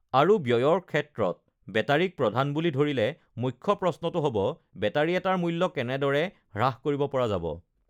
আৰু ব্যয়ৰ ক্ষেত্ৰত বেটাৰীক প্ৰধান বুলি ধৰিলে, মুখ্য প্ৰশ্নটো হ'ব: বেটাৰী এটাৰ মূল্য কেনেদৰে হ্ৰাস কৰিব পৰা যাব?